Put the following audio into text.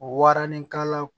Waranikala